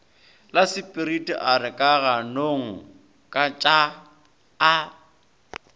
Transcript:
lasepiriti a re kaganongkatšaa a